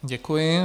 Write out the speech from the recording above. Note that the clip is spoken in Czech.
Děkuji.